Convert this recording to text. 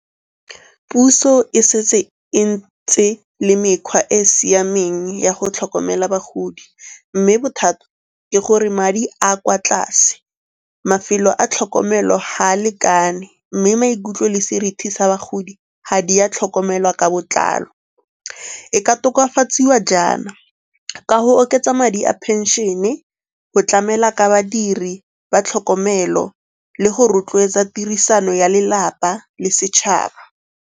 Puso e setse e ntse le mekgwa e siameng ya go tlhokomela bagodi mme bothata ke gore madi a kwa tlase, mafelo a tlhokomelo ga a lekane mme maikutlo le seriti sa bagodi ga di a tlhokomelwa ka botlalo. E ka tokafatsiwa jaana, ka go oketsa madi a phenšene, go tlamela ka badiri ba tlhokomelo le go rotloetsa tirisano ya lelapa le setšhaba.